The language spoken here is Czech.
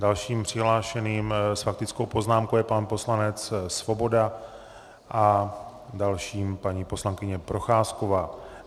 Dalším přihlášeným s faktickou poznámkou je pan poslanec Svoboda a dalším paní poslankyně Procházková.